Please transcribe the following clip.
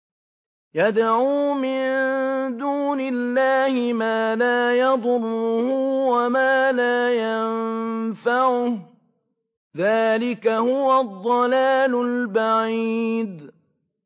يَدْعُو مِن دُونِ اللَّهِ مَا لَا يَضُرُّهُ وَمَا لَا يَنفَعُهُ ۚ ذَٰلِكَ هُوَ الضَّلَالُ الْبَعِيدُ